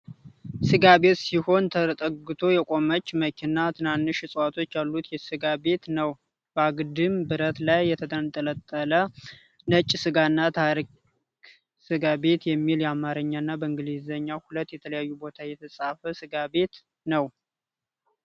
ሥጋ ቤት ሲሆን ተጠግታ የቆመች መኪና ትናንሽ ዕፅዋቶች ያሉት ሥጋ ቤት ነው::በአግድም ብረት ላይ የተንጠለጠለ ነጭ ሥጋና ታሪክ ሥጋ ቤት የሚል አማረኛና በእንግሊዘኛ ሁለት የተለያየ ቦታ የተፃፈ ሥጋ ቤት ነው::